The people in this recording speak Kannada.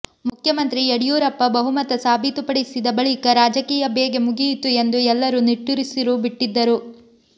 ಮುಖ್ಯಮಂತ್ರಿ ಯಡಿಯೂರಪ್ಪ ಬಹುಮತ ಸಾಬೀತುಪಡಿಸಿದ ಬಳಿಕ ರಾಜಕೀಯ ಬೇಗೆ ಮುಗಿಯಿತು ಎಂದು ಎಲ್ಲರೂ ನಿಟ್ಟುಸಿರು ಬಿಟ್ಟಿದ್ದರು